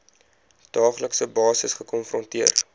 daaglikse basis gekonfronteer